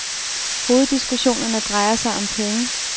Hoveddiskussionerne drejer sig om penge.